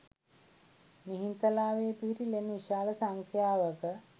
මිහින්තලාවේ පිහිටි ලෙන් විශාල සංඛ්‍යාවක